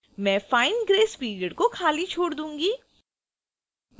मैं fine grace period को खाली छोड़ दूंगी